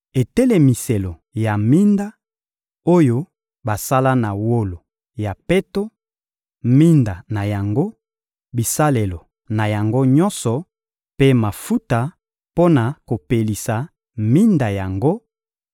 etelemiselo ya minda, oyo basala na wolo ya peto, minda na yango, bisalelo na yango nyonso mpe mafuta mpo na kopelisa minda yango,